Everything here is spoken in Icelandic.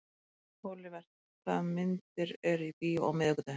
Olivert, hvaða myndir eru í bíó á miðvikudaginn?